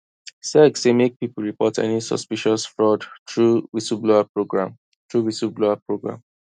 sec say make people report any suspicious fraud through whistleblower program through whistleblower program